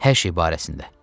Hər şey barəsində.